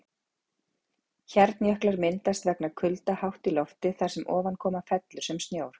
Hjarnjöklar myndast vegna kulda hátt í lofti þar sem ofankoma fellur sem snjór.